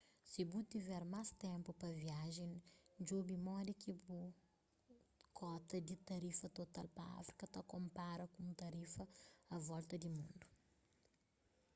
si bu tiver más ténpu pa viajen djobe modi ki bu kota di tarifa total pa áfrika ta konpara ku un tarifa a volta di mundu